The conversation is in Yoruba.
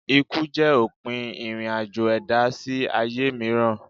Ikú jẹ́ òpin ìrìn-àjò ẹ̀dá sí ayé mìíràn.